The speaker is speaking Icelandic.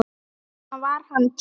Þess vegna var hann tekinn.